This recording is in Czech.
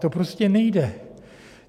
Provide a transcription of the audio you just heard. To prostě nejde.